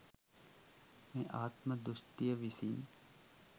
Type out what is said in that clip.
මේ ආත්ම දෘෂ්ටිය විසින්